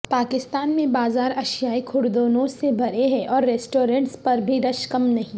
پاکستان میں بازار اشیائے خوردونوش سے بھرے ہیں اور ریسٹورنٹس پر بھی رش کم نہیں